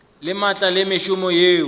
le maatla le mešomo yeo